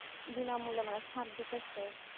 বিনামূল্যে দিতেছে